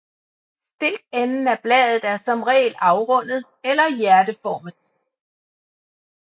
Stilkenden af bladet er i reglen afrundet eller hjerteformet